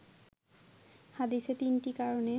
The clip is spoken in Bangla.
হাদীসে তিনটি কারণে